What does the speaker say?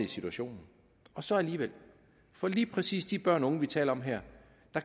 situation og så alligevel for lige præcis for de børn og unge vi taler om her